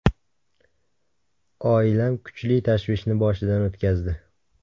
Oilam kuchli tashvishni boshidan o‘tkazdi.